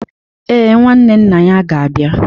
Ee, Nwanne nna ya ga-abịa